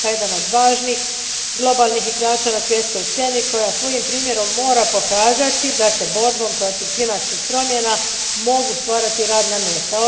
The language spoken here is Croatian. Europa je jedan od važnih, globalnih igrača na svjetskoj sceni koja svojim primjerom mora pokazati da se borbom protiv klimatskih promjena mogu stvarati radna mjesta.